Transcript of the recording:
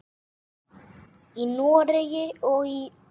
Í Noregi og í